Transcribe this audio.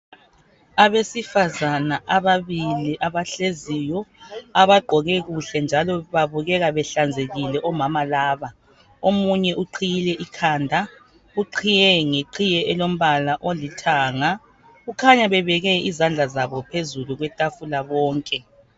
Abesifazane abahleziyo bagqoke kujle njalo babukeka behlanzekile omama laba. Omunye uqhiyile ikhanda uqhiye ngeqhiye elombala olithanga. Kukhanya bebeke izandla zabo phezulu kwetafula bonke.